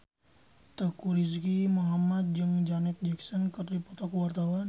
Teuku Rizky Muhammad jeung Janet Jackson keur dipoto ku wartawan